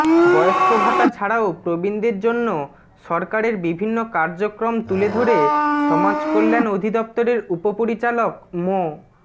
বয়স্কভাতা ছাড়াও প্রবীণদের জন্য সরকারের বিভিন্ন কার্যক্রম তুলে ধরে সমাজকল্যাণ অধিদফতরের উপপরিচালক মো